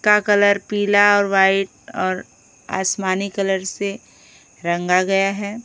का कलर पीला और वाइट और आसमानी कलर से रंग गया है।